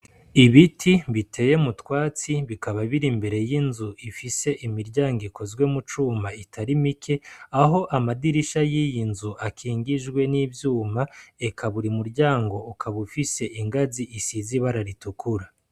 Ibiti biteye mutwatsi bikaba biri imbere y'inzu ifise imiryango ikozwe mu cuma itari mike aho amadirisha y'iyi inzu akingijwe n'ivyuma eka buri muryango ukaba ufise ingazi isize ibara ritukura.